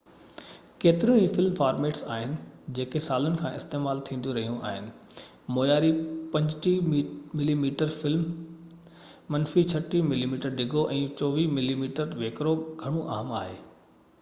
ڪيتريون ئي film formats آهن جيڪو سالن کان استعمال ٿينديون رهيون آهن. معياري 35 ملي ميٽر فلم منفي 36 ملي ميٽر ڊگهو ۽ 24 ملي ميٽر ويڪرو گهڻو عام آهي